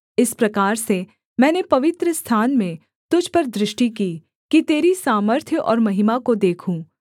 इस प्रकार से मैंने पवित्रस्थान में तुझ पर दृष्टि की कि तेरी सामर्थ्य और महिमा को देखूँ